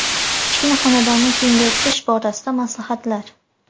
Kichkina xonadonni kengaytirish borasida maslahatlar.